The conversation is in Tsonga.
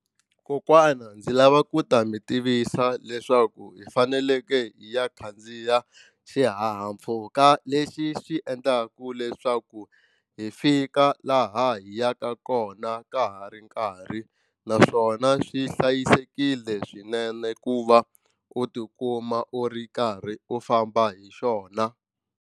Kokwana ndzi lava ku ta mi tivisa leswaku hi fanekele hi ya khandziya xihahampfhuka lexi xi endlaka leswaku hi fika la laha hi yaka kona ka ha ri nkarhi naswona swi hlayisekile swinene ku va u tikuma u ri karhi u famba hi xona.